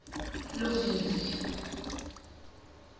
luvivi